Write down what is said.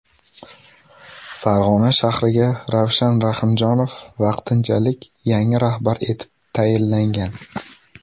Farg‘ona shahriga Ravshan Rahimjonov vaqtinchalik yangi rahbar etib tayinlangan.